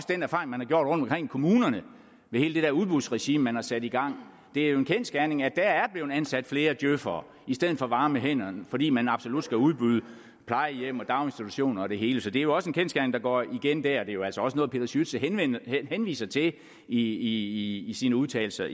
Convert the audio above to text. den erfaring man har gjort rundtomkring i kommunerne med hele det der udbudsregime man har sat i gang det er jo en kendsgerning at der er blevet ansat flere djøfere i stedet for varme hænder fordi man absolut skal udbyde plejehjem daginstitutioner og det hele så det er jo også en kendsgerning der går igen det er jo altså også noget peter schütze henviser til i i sine udtalelser